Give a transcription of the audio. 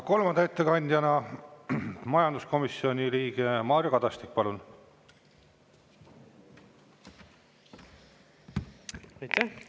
Kolmanda ettekandjana majanduskomisjoni liige Mario Kadastik, palun!